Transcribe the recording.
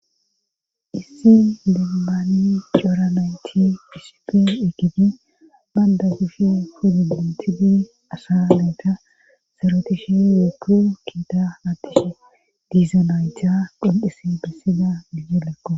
issi dembaani cora nayti pisipi ekibi baynda kushe fudimentidi asa meeta sarotishe yeepu kiita attishe diizanayta qol7isi bessida gije lekko